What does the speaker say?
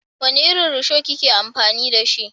Wani irin rusho ki ke amfani da?